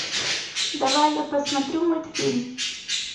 давай я посмотрю мультфильм